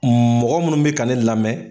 Mɔgɔ munnu bɛ ka ne lamɛn.